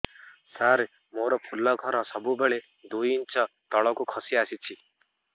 ସାର ମୋର ଫୁଲ ଘର ସବୁ ବେଳେ ଦୁଇ ଇଞ୍ଚ ତଳକୁ ଖସି ଆସିଛି